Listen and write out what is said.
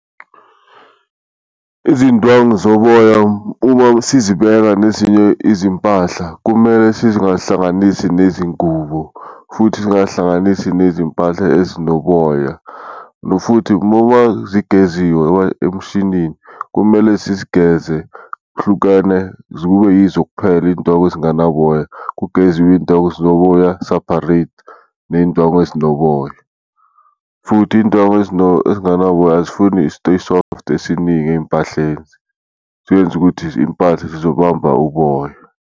Izindwangu zoboya uma sizibeka nezinye izimpahla kumele sizingahlanganisi nezingubo, futhi singahlanganisi nezimpahla ezinoboya, futhi kumele zigeziwe emshinini, kumele sizigeze hlukene kube yizo kuphela iyindangu ezinganaboya. Kugeziwe iyindwangu ezinoboya separate neyindwangu ezinoboya, futhi indwangu ezinganaboya azifuni i-stay soft esiningi ey'mpahleni siyoyenza ukuthi impahla zizobamba uboya.